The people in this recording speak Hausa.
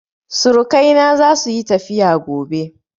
Surukai na za su yi tafiya gobe